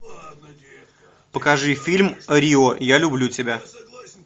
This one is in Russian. покажи фильм рио я люблю тебя